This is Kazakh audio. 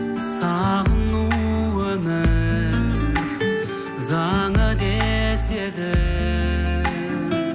сағыну өмір заңы деседі